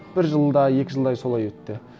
бір жыл да екі жылдай солай өтті